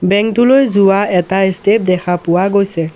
বংক টোলৈ যোৱা এটা ষ্টেপ দেখা পোৱা গৈছে।